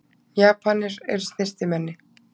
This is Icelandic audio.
Japanir eru snyrtimenni.